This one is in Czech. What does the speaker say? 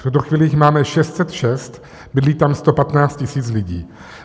V tuto chvíli jich máme 606, bydlí tam 115 tisíc lidí.